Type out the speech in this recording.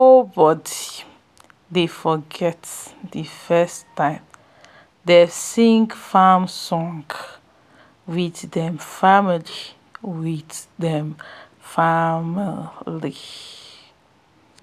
nobody dey forget de first time dey sing farm song with dem family with dem family